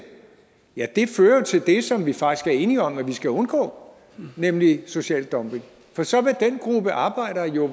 ja det fører jo til det som vi faktisk er enige om at vi skal undgå nemlig social dumping for så vil den gruppe arbejdere jo